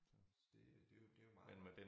Så det det jo det jo meget